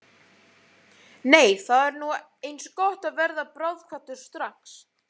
Nei þá er nú eins gott að verða bráðkvaddur strax.